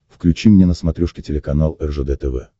включи мне на смотрешке телеканал ржд тв